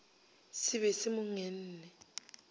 se be se mo ngenne